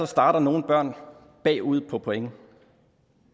starter nogle børn bagud på point